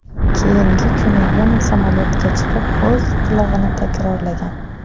Keyingi kuni yana samolyotga chiqib, o‘z qilig‘ini takrorlagan.